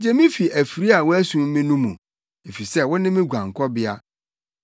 Gye me fi afiri a wɔasum me no mu, efisɛ wo ne me guankɔbea.